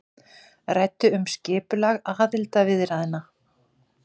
Ræddu um skipulag aðildarviðræðna